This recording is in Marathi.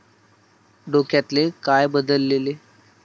डोक्यातले काय बदलले?